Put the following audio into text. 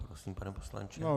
Prosím, pane poslanče.